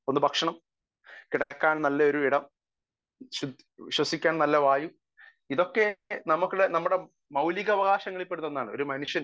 Speaker 1 ഒന്നു ഭക്ഷണം കിടക്കാൻ നല്ല ഒരിടം ശ്വസിക്കാൻ നല്ല വായു ഇതൊക്കെ നമ്മുടെ മൗലിക അവകാശങ്ങളിൽ പെടുന്ന ഒന്നാണ് . ഒരു മനുഷ്യന്